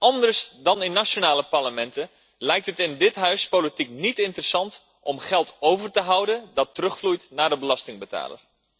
Anders dan in nationale parlementen lijkt het in dit Huis politiek niet interessant om geld over te houden dat terugvloeit naar de belastingbetaler.